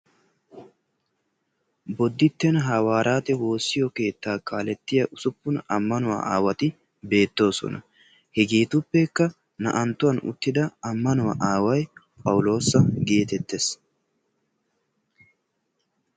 bodditten hawariyaate woosa keettaa kaalettiyaa usuppun ammanuwaa aawati beettoosona. hegeetuppekka naa"anttuwaa uuttida ammanuwaa aaway phawuloosa getettees.